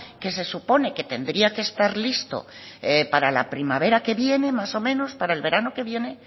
que se supone que tendría que estar listo para la primavera que viene más o menos para el verano que viene